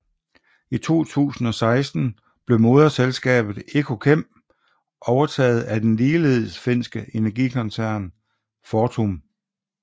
I 2016 blev moderselskabet Ekokem overtaget af den ligeledes finske energikoncern Fortum